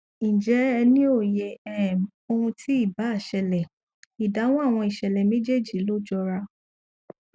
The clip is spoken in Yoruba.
ǹjẹ ẹ ní òye um ohun tí ì bá ṣẹlẹ ìdáhùn àwọn ìṣẹlẹ méjèejì ló jọra